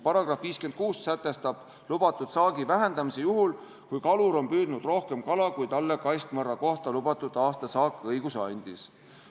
Paragrahv 56 sätestab lubatud saagi vähendamise juhul, kui kalur on püüdnud rohkem kala, kui talle kastmõrra kohta lubatud aastasaak õiguse andis.